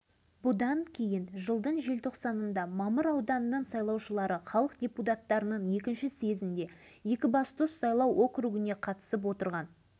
тұрмыс-жағдайлары адам төзгісіз бұл жөнінде павлодар тұрғындарына ешқандай көмек көрсетілмей отыр алайда бұл хатқа ешқандай жауап